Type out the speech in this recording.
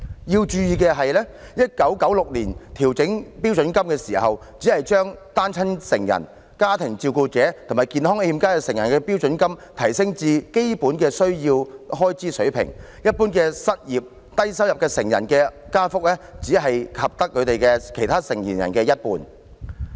要注意的是 ，1996 年調整標準金額的時候，只把單親成人、家庭照顧者及健康欠佳成人的標準金額提升至基本需要開支的水平，而對一般失業、低收入成人的加幅，則只及其他成年人的一半。